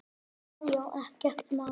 Já já, ekkert mál.